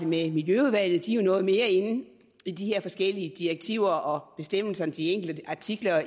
miljøudvalget de er jo noget mere inde i de her forskellige direktiver og bestemmelser om de enkelte artikler